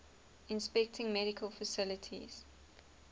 inspecting medical facilities